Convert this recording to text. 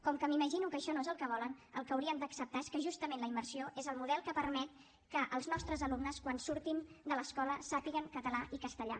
com que m’imagino que això no és el que volen el que haurien d’acceptar és que justament la immersió és el model que permet que els nostres alumnes quan surtin de l’escola sàpiguen català i castellà